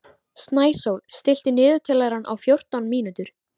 Snæsól, stilltu niðurteljara á fjórtán mínútur.